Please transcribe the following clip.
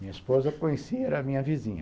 Minha esposa, conheci, era minha vizinha.